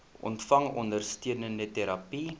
ontvang ondersteunende terapie